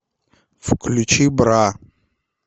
включи бра